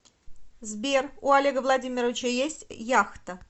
сбер у олега владимировича есть яхта